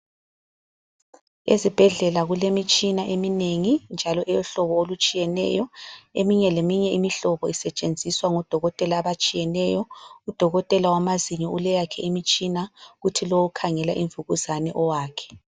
Ezibhedlela kulemitshina eminengi njalo eyohlobo olutshiyeneyo. Eminye leminye imihlobo isetshenziswa ngodokotela abatshiyeneyo. Udokotela wamazinyo uleyakhe imitshina kuthi lo okhangela imvukuzane owakhe.